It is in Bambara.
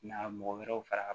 Na mɔgɔ wɛrɛw fara